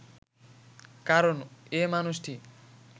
কারণ এ মানুষটি